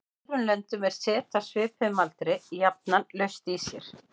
Í öðrum löndum er set af svipuðum aldri jafnan laust í sér.